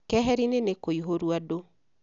Keheri-ini nĩ kũihũrũ andũ